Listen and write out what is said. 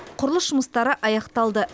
құрылыс жұмыстары аяқталды